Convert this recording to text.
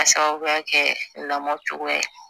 K'a sababuya kɛ lamɔ cogoya ye